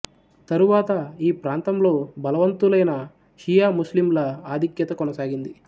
తరువాత ఈ ప్రాంతంలో బలవంతులైన షియా ముస్లిముల ఆధిక్యత కొనసాగింది